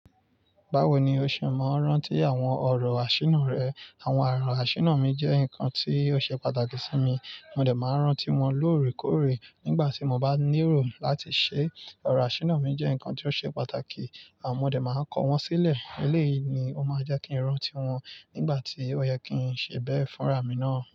Báwo ni o ṣe máa ń rántí àwọn ọ̀rọ̀ àṣìna rẹ? Àwọn oro àṣìna mi jẹ́ nǹkan tí ó ṣe pàtàkì sí mi. Mo dẹ̀ máa rántí wọn lóòrèkóòrè nígbà tí mo bá ní èrò láti ṣé, ọ̀rọ̀ àṣìna mi jẹ́ nǹkan tí ó ṣe pàtàkì. Mọ dé máa ń kọ̀ wọ́n sílẹ̀. Eléyìí ni ó máa jẹ́ kí n rántí wọn nígbà tí ó yẹ kí n ṣe bẹ́ẹ̀ fúnra mi náà.